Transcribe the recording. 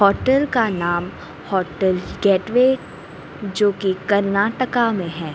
Hotel का नाम hotel gateway जोकि कर्नाटका में है।